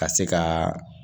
Ka se ka